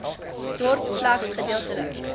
dorp slegs gedeeltelike